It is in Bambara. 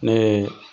Ne ye